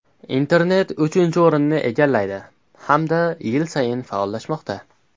Internet uchinchi o‘rinni egallaydi, hamda yil sayin faollashmoqda.